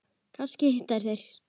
Kannski hittast þeir.